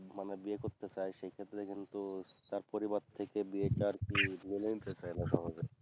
মানে বিয়ে করতে চায় সেক্ষেত্রে কিন্তু তার পরিবার থেকে বিয়েটা আরকি মেনে নিতে চায়না সহজে